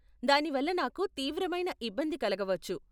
దాని వల్ల నాకు తీవ్రమైన ఇబ్బంది కలగవచ్చు.